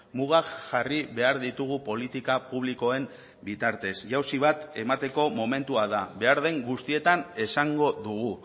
mugak jarri behar ditugu politika publikoen bitartez jausi bat emateko momentua da behar den guztietan esango dugu